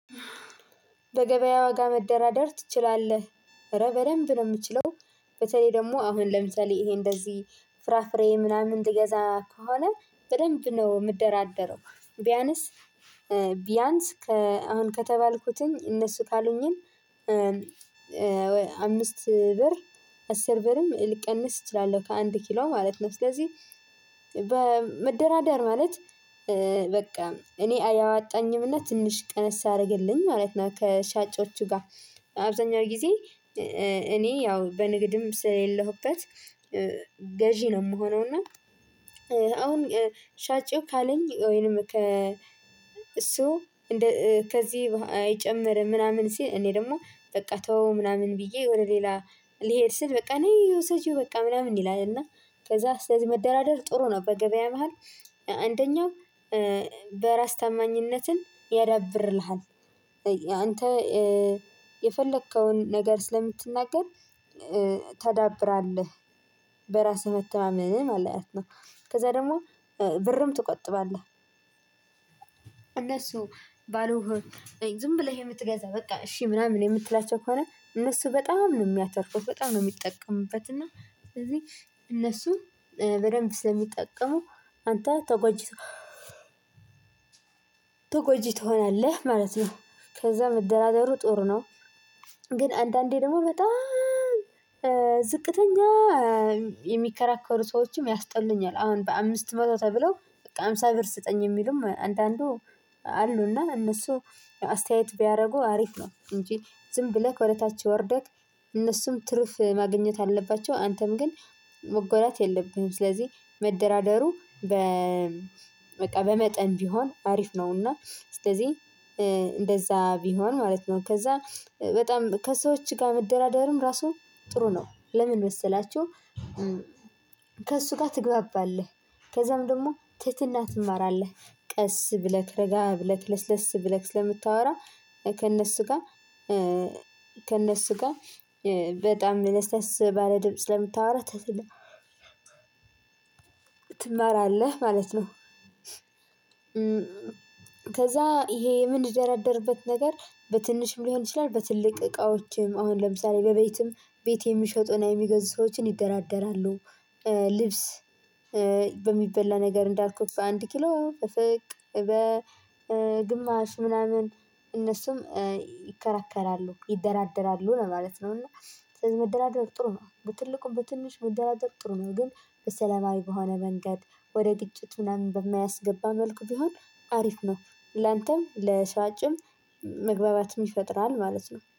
በገበያ ዋጋ መደራደር ትችላለህ? ኧረ በደንብ ነው የምችለው። በተለይ ደግሞ አሁን ለምሳሌ ይሄ እንደዚህ ፍራፍሬ ምናምን ትገዛ ከሆነ በደንብ ነው የምደራደረው። ቢያንስ ቢያንስ አሁን ከተባልኩትን እነሱ ካሉኝን አምስት ብር አስር ብርም ልቀንስ እችላለሁ ከአንድ ኪሎ ማለት ነው። ስለዚህ በመደራደር ማለት በቃ እኔ አያዋጣኝም እና ትንሽ ቀነስ አድርግልኝ ማለት ነው። ከሻጮቹ ጋር አብዛኛው ጊዜ አምስት ብር አስር ብርም ልቀንስ እችላለሁ ከአንድ ኪሎ ማለት ነው። ስለዚህ እሱ እንደ ከዚህ አይጨምርም ምናምን ሲል እኔ ደግሞ በቃ ተወው ምናምን ብዬ ወደ ሌላ ልሄድ ስል በቃ ነይ ውሰጂው በቃ ምናምን ይላል። እና ከዛ ስለዚህ መደራደር ጥሩ ነው። በገበያ መሃል አንደኛው በራስ ታማኝነትን ያዳብርልሃል። አንተ የፈለከውን ነገር ስለምትናገር ታዳብራለህ። በራስህ መተማመን ማለት ነው። ከዛ ደግሞ ብርም ትቆጥባለህ። እነሱ ባሉህ ዝም ብለህ የምትገዛ በቃ እሺ ምናምን የምትላቸው ከሆነ እነሱ በጣም ነው የሚያተርፉት፣ በጣም ነው የሚጠቀሙበት። እና ስለዚህ እነሱ በደንብ ስለሚጠቀሙ አንተ ተጎጂ ተጎጂ ትሆናለህ ማለት ነው። ከዛ መደራደሩ ጥሩ ነው። ግን አንዳንዴ ደግሞ በጣም ዝቅተኛ የሚከራከሩ ሰዎችም ያስጠሉኛል አሁን በአምስት መቶ ተብለው በቃ ሃምሳ ብር ስጠኝ የሚሉም አንዳንዱ አሉ። እና እነሱ አስተያየት ቢያደርጉ አሪፍ ነው። እንጂ ዝም ብለህ ወደ ታች ወርደህ እነሱም ትርፍ ማግኘት አለባቸው። አንተም ግን መጎዳት የለብህም። ስለዚህ መደራደሩ በ በቃ በመጠን ቢሆን አሪፍ ነው። እና ስለዚህ እንደዛ ቢሆን ማለት ነው። ከዛ በጣም ከሰዎች ጋር መደራደርም ራሱ ጥሩ ነው። ለምን መሰላችሁ ከእሱ ጋር ትግባባለህ። ከዛም ደግሞ ትህትና ትማራለህ። ቀስ ብለህ፣ ረጋ ብለክ፣ ለስለስ ብለክ ስለምታወራ ከእነሱ ጋር ከእነሱ ጋርበጣም ለስለስ ባለ ድምጽ ስለምታወራ ትማራለህ ማለት ነው። ከዛ ይሄ የምንደራደርበት ነገር በትንሽ ሊሆን ይችላል በትልቅ እቃዎችም አሁን ለምሳሌ በቤትም ቤት የሚሸጡና የሚገዙ ሰዎችን ይደራደራሉ። ልብስ በሚበላ ነገር እንዳልኩት በአንድ ኪሎ በፍቅ በግማሽ ምናምን እነሱም ይከራከራሉ፣ ይደራደራሉ ማለት ነው። እና ስለዚህ መደላደር ጥሩ ነው። በትልቁ በትንሽ መደራደር ጥሩ ነው። ግን በሰላማዊ በሆነ መንገድ ወደ ግጭት ምናምን በማያስገባ መልኩ ቢሆን አሪፍ ነው። ላንተም ለሻጭም መግባባትም ይፈጥራል ማለት ነው።